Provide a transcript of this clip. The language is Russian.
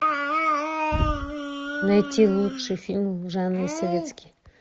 найти лучший фильм в жанре советский